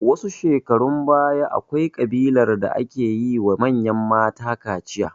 Wasu shekarun baya, akwai ƙabilar da ke yi ma manyan mata kaciya.